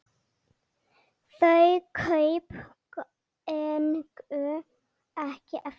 Þau kaup gengu ekki eftir.